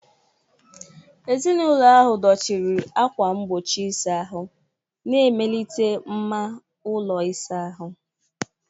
Ezinụlọ ahụ dọchiri ákwà mgbochi ịsa ahụ, na-emelite mma ụlọ ịsa ahụ.